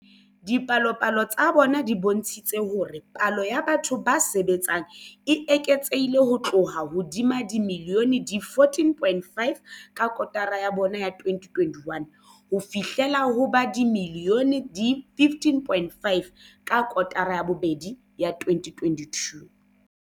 Dipalopalo tsa bona di bontshitse hore palo ya batho ba sebetsang e eketsehile ho tloha ho ba dimilione di 14.5 ka kotara ya bone ya 2021 ho fihlela ho ba dimilione di 15.5 ka kotara ya bobedi ya 2022.